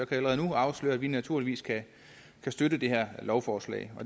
allerede nu afsløre at vi naturligvis kan støtte det her lovforslag